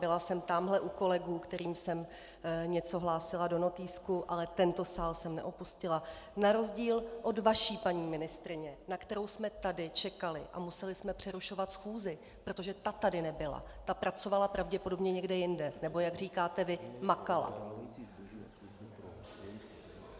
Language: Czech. Byla jsem tamhle u kolegů, kterým jsem něco hlásila do notýsku, ale tento sál jsem neopustila, na rozdíl od vaší paní ministryně, na kterou jsme tady čekali, a museli jsme přerušovat schůzi, protože ta tady nebyla, ta pracovala pravděpodobně někde jinde, nebo jak říkáte vy, makala.